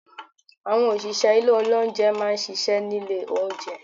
Àwọn òṣìṣẹ́ ilé olóúnjẹ má a n ṣiṣẹ́ nílé oúnjẹ